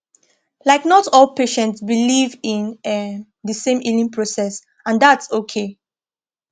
like not all patients believe in um the same healing process and thats okay